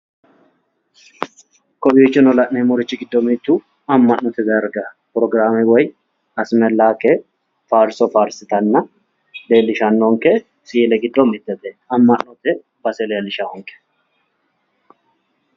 Kowiichono la'neemmorichi giddo mittu amma'note darga forogiraame woy asmellaake faarso faarsitanna leellishshanonke misile giddo mitete. amma'note base leellishaanke.